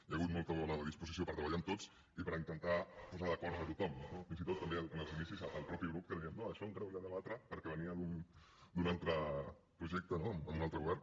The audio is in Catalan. hi ha hagut molt bona disposició per treballar amb tots i per intentar posar d’acord a tothom no fins i tot també en els inicis el mateix grup que deien no això encara ho hem de debatre perquè venia d’un altre projecte no amb un altre govern